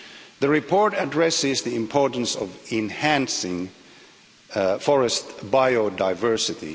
The report addresses the importance of enhancing forest biodiversity